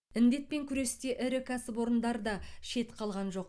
індетпен күресте ірі кәсіпорындар да шет қалған жоқ